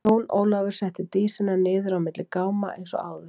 Jón Ólafur setti Dísina niður á milli gáma eins og áður.